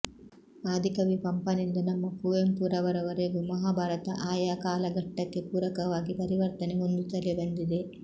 ಆದಿಕವಿ ಪಂಪನಿಂದ ನಮ್ಮ ಕುವೆಂಪುರವರವರೆಗೂ ಮಹಾಭಾರತ ಆಯಾ ಕಾಲಘಟ್ಟಕ್ಕೆ ಪೂರಕವಾಗಿ ಪರಿವರ್ತನೆ ಹೊಂದುತ್ತಲೇ ಬಂದಿದೆ